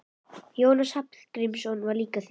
Jónas Hallgrímsson var líka þýðandi.